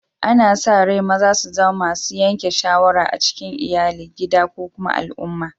Ana sa rai maza su zama masun yanke shawarar a cikin Iyalli, gida ko kuma al'umma.